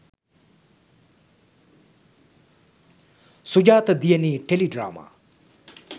sujatha diyani teledrama